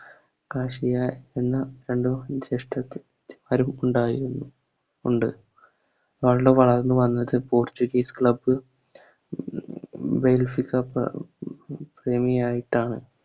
ഉണ്ടായിരുന്നു ഉണ്ട് വളർന്നു വന്നത് Portuguese club Club ആയിട്ടാണ്